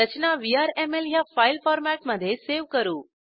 रचना VRML ह्या file फॉरमॅटमधे save करू